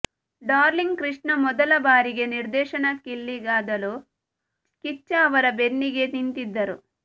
darling Krishna ಮೊದಲ ಬಾರಿಗೆ ನಿರ್ದೇಶನಕ್ಕಿಳಿದಾಗಲೂ ಕಿಚ್ಚ ಅವರ ಬೆನ್ನಿಗೇ ನಿಂತಿದ್ದರು